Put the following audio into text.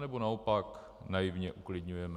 Anebo naopak naivně uklidňujeme?